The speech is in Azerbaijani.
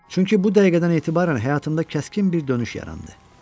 Çünki bu dəqiqədən etibarən həyatımda kəskin bir dönüş yarandı.